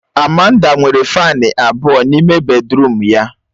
Amanda nwere Fani abụọ n'ime bèdrụm ya